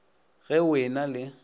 ge o e na le